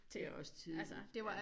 Det også tidligt ja